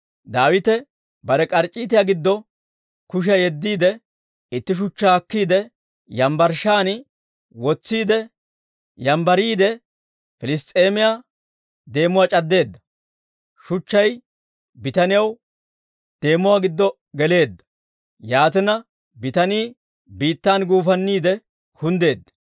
Daawite bare k'arc'c'iitiyaa giddo kushiyaa yeddiide, itti shuchchaa akkiide yambbarshshan wotsiide yambbariide, Piliss's'eemiyaa deemuwaa c'addeedda. Shuchchay bitaniyaw deemuwaa giddo geleedda; yaatina, bitanii biittan guufanniide kunddeedda.